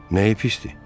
Nəyi pisdir?